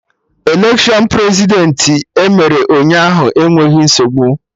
Electiọnụ Prezidentị emere Ụnyaahụ enweghị nsogbu